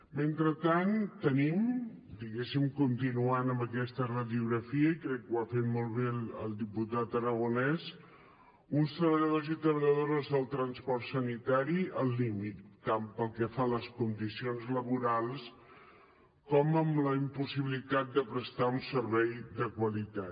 mentrestant tenim diguéssim continuant amb aquesta radiografia i crec que ho ha fet molt bé el diputat aragonès uns treballadors i treballadores del transport sanitari al límit tant pel que fa a les condicions laborals com per la impossibilitat de prestar un servei de qualitat